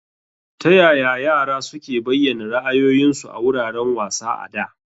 Taya yara suke bayyana ra'ayoyinsu a wuraren wasa a da?